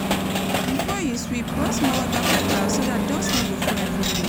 Before you sweep pour small water for ground so dat dust no go full everywhere.